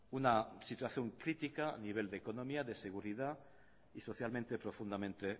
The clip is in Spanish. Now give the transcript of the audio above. una situación crítica a nivel de economía de seguridad y socialmente profundamente